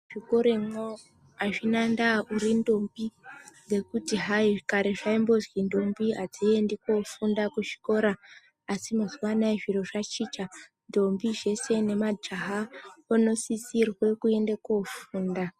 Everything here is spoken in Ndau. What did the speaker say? Muzvikoremwo hazvina ndaa kuti urindombi ngekuti hai kare zvaimbozi ndombi hadziendi kofunda kuzvikora. Asi mazuva anaya zviro zvachinja ndombi zvese nemajaha unosisirwe kuende kofunda.